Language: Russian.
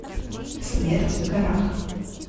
смерть в горах